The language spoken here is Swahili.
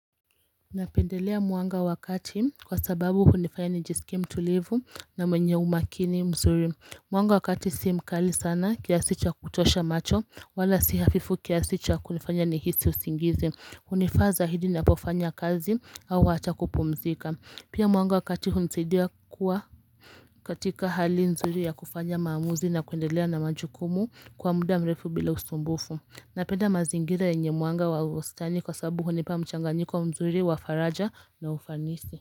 Napendelea mwanga wakati kwa sababu hunifaya nijisikie mtulivu na mwenye umakini mzuri Mwanga wakati si mkali sana kiasi cha kutosha macho wala si hafifu kiasi cha kunifanya nihisi usingizi Hunifaaza hidi napofanya kazi au hata kupumzika Pia mwanga wakati hunsaidia kuwa katika hali mzuri ya kufanya maamuzi na kuendelea na majukumu kwa muda mrefu bila usumbufu na penda mazingira yenye mwanga wa ustani kwa sabu hunipa mchanga nyiko mzuri wa faraja na ufanisi.